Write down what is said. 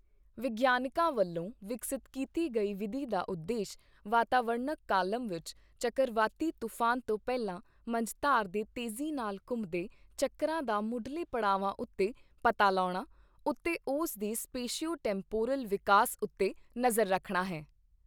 ਵਿਗਿਆਨਕਾਂ ਵੱਲੋਂ ਵਿਕਸਤ ਕੀਤੀ ਗਈ ਵਿਧੀ ਦਾ ਉਦੇਸ਼ ਵਾਤਾਵਰਣਕ ਕਾਲਮ ਵਿੱਚ ਚੱਕਰਵਾਤੀ ਤੂਫ਼ਾਨ ਤੋਂ ਪਹਿਲਾਂ ਮੰਝਧਾਰ ਦੇ ਤੇਜ਼ੀ ਨਾਲ ਘੁੰਮਦੇ ਝੱਕਰਾਂ ਦਾ ਮੁੱਢਲੇ ਪੜਾਵਾਂ ਉੱਤੇ ਪਤਾ ਲਾਉਣਾ ਉੱਤੇ ਉਸ ਦੇ ਸਪੇਸ਼ੀਓ ਟੈਂਪੋਰਲ ਵਿਕਾਸ ਉੱਤੇ ਨਜ਼ਰ ਰੱਖਣਾ ਹੈ।